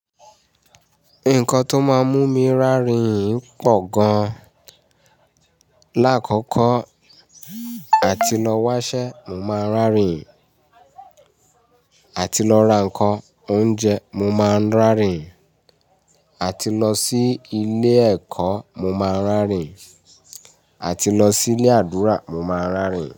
Nǹkan tó máa ń mú mi rárìn pọ̀ gan. Láàkọ́kọ́, àti lọ wáṣẹ́ mo máa ń rin àti lọ ra nǹkan oúnjẹ mo máa ń rárìn, àti lọ sí ilé ẹ̀kọ́ mo máa ń rárìn, àti lọ sí ilé àdúrà mo máa ń rárìn.